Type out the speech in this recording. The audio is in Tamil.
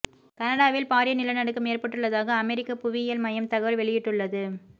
கனடாவில் பாரிய நிலநடுக்கம் ஏற்பட்டுள்ளதாக அமெரிக்க புவியியல் மையம் தகவல் வெளியிட்டுள்ளது